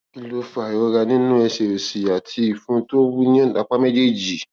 kí ló ń fa ìrora nínú ẹsè òsì àti ìfun tó wú ní apá méjèèjì